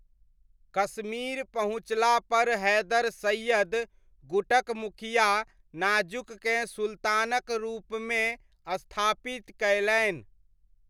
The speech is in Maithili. कश्मीर पहुँचलापर हैदर सैय्यद गुटक मुखिया नाज़ुककेँ सुल्तानक रूपमे स्थापित कयलनि।